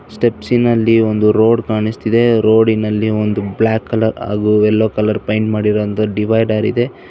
ಸ್ಟೆಪ್ಸಿನಲ್ಲಿ ಒಂದು ರೋಡ್ ಕಾಣಿಸುತ್ತಿದೆ ರೋಡಿನಲ್ಲಿ ಒಂದು ಬ್ಲಾಕ್ ಕಲರ್ ಹಾಗೂ ಯೆಲ್ಲೋ ಕಲರ್ ಇದೆ ಪೇಂಟ್ ಮಾಡಿರೋ ಒಂದು ಡಿವೈಡರ್ ಇದೆ.